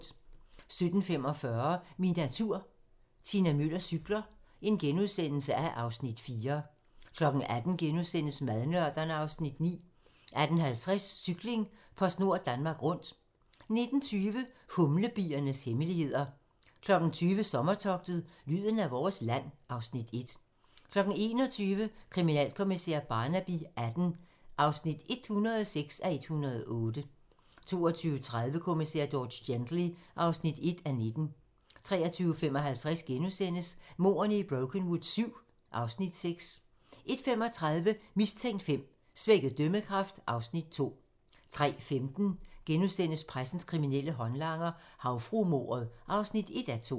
17:45: Min natur - Tina Müller cykler (Afs. 4)* 18:00: Madnørderne (Afs. 9)* 18:50: Cykling: PostNord Danmark Rundt 19:20: Humlebiernes hemmeligheder 20:00: Sommertogtet - lyden af vores land (Afs. 1) 21:00: Kriminalkommissær Barnaby XVIII (106:108) 22:30: Kommissær George Gently (1:19) 23:55: Mordene i Brokenwood VII (Afs. 6)* 01:35: Mistænkt V: Svækket dømmekraft (Afs. 2) 03:15: Pressens kriminelle håndlanger - Havfruemordet (1:2)*